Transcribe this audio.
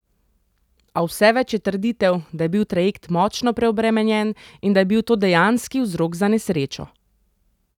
A vse več je trditev, da je bil trajekt močno preobremenjen in da je bil to dejanski vzrok za nesrečo.